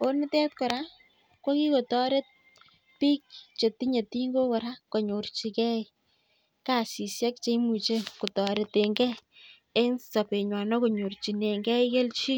mbar akotoret bik chetinyee tingok ko kokisich kasishek cheae